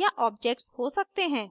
या ऑब्जेक्ट्स हो सकते हैं